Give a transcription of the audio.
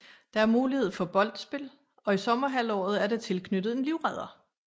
Der er mulighed for boldspil og i sommerhalvåret er der tilknyttet en livredder